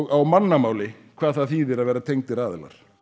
á mannamáli hvað það þýðir að vera tengdir aðilar